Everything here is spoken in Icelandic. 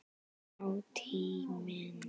Já, tíminn.